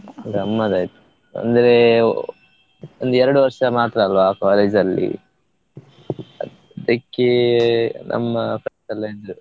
ಗಮ್ಮತ್ತ್ ಆಯ್ತು ಅಂದ್ರೆ ಒಂದು ಎರಡು ವರ್ಷ ಮಾತ್ರ ಅಲ್ಲ college ಅಲ್ಲಿ ಅದಕ್ಕೆ ನಮ್ಮ friends ಎಲ್ಲಾ ಇದ್ರು.